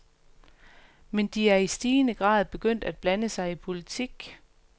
Men de er i stigende grad begyndt at blande sig i politik.